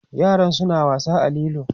yaran suna wasa a lilo